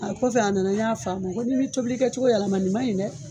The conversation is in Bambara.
A kɔfɛ a nana n y'a f'a ma nko n'i m'i cobili kɛ cogo yɛlɛma nin maɲi dɛ